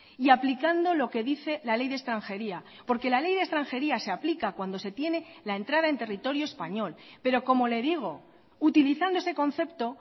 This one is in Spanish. y aplicando lo que dice la ley de extranjería porque la ley de extranjería se aplica cuando se tiene la entrada en territorio español pero como le digo utilizando ese concepto